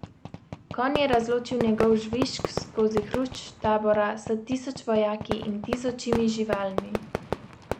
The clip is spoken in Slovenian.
Konj je razločil njegov žvižg skozi hrušč tabora s tisoč vojaki in tisočimi živalmi.